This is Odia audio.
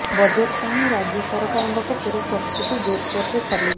ବଜେଟ୍ ପାଇଁ ରାଜ୍ୟ ସରକାରଙ୍କ ପକ୍ଷରୁ ପ୍ରସ୍ତୁତି ଜୋରସୋରରେ ଚାଲିଛି